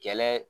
Kɛlɛ